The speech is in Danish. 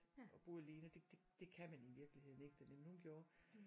Og boede alene det det kan man i virkeligheden ikke dernede men hun gjorde